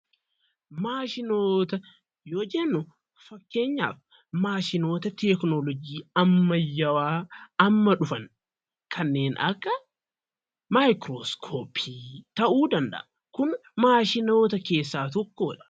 Maashinoota yoo jennu, fakkeenyaaf maashinoota teknoolojii ammayyawaa amma dhufan kanneen akka maayikirooskoppii ta'uu danda'a. Kun maashinoota keessaa tokkoo dha.